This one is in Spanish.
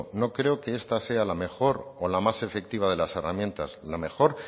no creo que esta sea la mejor o la más efectiva de las herramientas la mejor